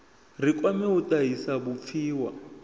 ri kwame u tahisa vhupfiwa